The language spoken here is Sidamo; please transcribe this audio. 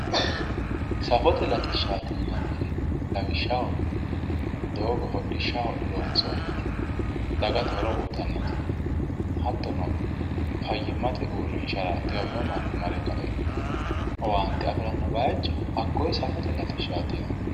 safote latishshaati yinanniri lawishshaho doogo hodhishshaho loonsoonnite dagate horo uyiitannote hattono fayyimmate uurrinshara xiwamino manni mare kae owaante afiranno bayiicho hakkonne safote latishshaati yinann.